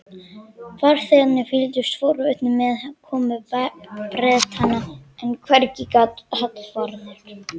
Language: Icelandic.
Farþegarnir fylgdust forvitnir með komu Bretanna, en hvergi gat Hallvarður